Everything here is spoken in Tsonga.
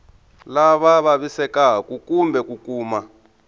lava vavisekaku kumbe ku kuma